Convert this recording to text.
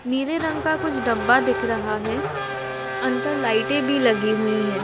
नीले रंग का कुछ डब्बा दिख रहा है। अंदर लाइटे भी लगी हुई है।